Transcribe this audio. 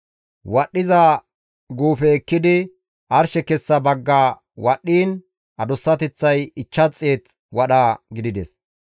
Wadhdhiza guufe ekkidi, arshe kessa bagga wadhdhiin, adussateththay 500 wadha gidides.